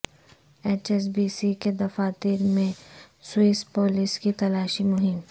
H S B C کے دفاتر میں سوئس پولیس کی تلاشی مہم